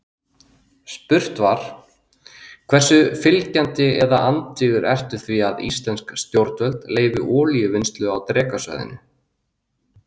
Spurt var: Hversu fylgjandi eða andvígur ertu því að íslensk stjórnvöld leyfi olíuvinnslu á Drekasvæðinu?